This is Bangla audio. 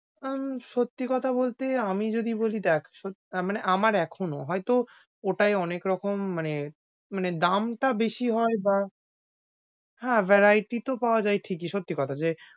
উম সত্যি কথা বলতে আমি যদি বলি, দেখ সত~মানে আমার এখনো হয়তো ওটাই অনেকরকম মানে মানে দামটা বেশি, হয় বা হ্যাঁ variety তো পাওয়া যায় ঠিকই সত্যি কথা যে,